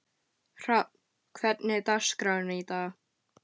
Hrafn, hvernig er dagskráin í dag?